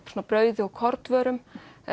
brauði og kornvörum